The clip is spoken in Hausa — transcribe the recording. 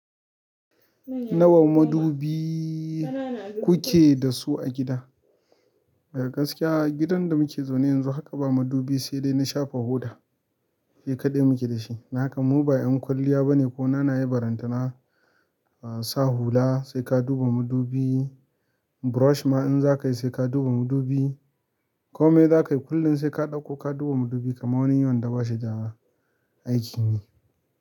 Nawa madubi kuke da su a gida? A gaskiya gidan da muke zaune yanzu haka ba madubi sai dai na shafa hoda, shi kaɗai muke da shi. Danhaka mu ba 'yan kwalliya ba ne ko. Nana yai baranta na sa hula sai ka duba madubi, brush ma in za ka yi sai ka duba madubi. Komai za ka yi kullum sai ka ɗauko ka duba madubi kamar wani wanda bashi da aiki ne.